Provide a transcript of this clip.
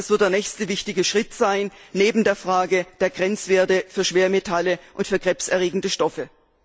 Das wird der nächste wichtige Schritt sein neben der Frage der Grenzwerte für Schwermetalle und für krebserregende Stoffe.